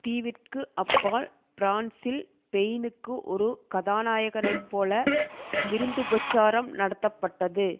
தீவிற்கு அப்பால் பிரான்சில் பெயினுக்கு ஒரு கதாநாயனைப் போல விருந்துபச்சாரம் நடத்தப்பட்டது